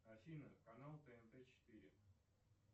афина канал тнт четыре